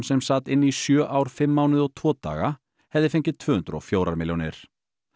sem sat inni í sjö ár fimm mánuði og tvo daga hefði fengið tvö hundruð og fjögur milljónir